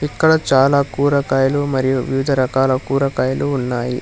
ఇక్కడ చాలా కూరకాయలు మరియు వివిధ రకాల కూరకాయలు ఉన్నాయి.